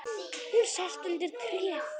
Hún sest undir tréð.